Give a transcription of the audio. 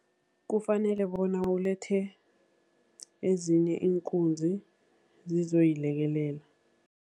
Kufanele bona ulethe ezinye iinkunzi zizoyilekelela.